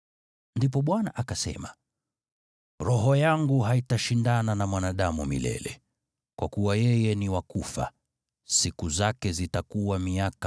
Ndipo Bwana akasema, “Roho yangu haitashindana na mwanadamu milele, kwa kuwa yeye ni wa kufa, siku zake zitakuwa miaka 120.”